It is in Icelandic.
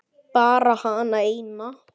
Bara hana eina.